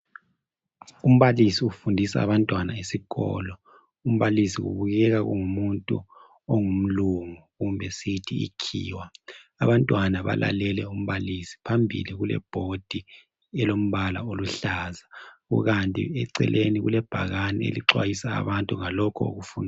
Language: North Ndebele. Umbalisi ufundisa abantwana esikolo. Umbalisi ubukeka kungumuntu ongumlungu, kumbe sithi ikhiwa. Abantwana balalele umbalisi. Phambili kulebhodi, elombala oluhlaza. Kukanti eceleni kulebhakane elixwayisa abantu ngalokho okufu..